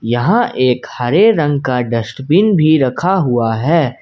यहा एक हरे रंग का डस्टबिन भी रखा हुआ है।